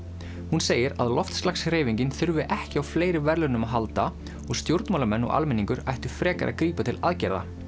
hún segir að þurfi ekki á fleiri verðlaunum að halda og stjórnmálamenn og almenningur ættu frekar að grípa til aðgerða